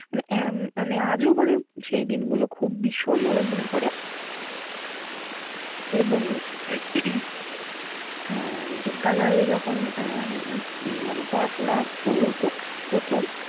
মানে উম মানে আজও মানে সেই দিন গুলো খুব ভীষণ ভাবে মনে পড়ে। এবং আহ বিদ্যালয়ে যখন আহ উম মানে পড়াশোনা শুরু হতো প্রথম